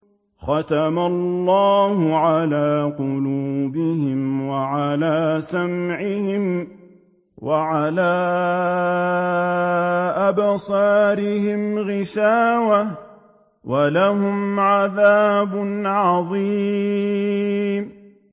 خَتَمَ اللَّهُ عَلَىٰ قُلُوبِهِمْ وَعَلَىٰ سَمْعِهِمْ ۖ وَعَلَىٰ أَبْصَارِهِمْ غِشَاوَةٌ ۖ وَلَهُمْ عَذَابٌ عَظِيمٌ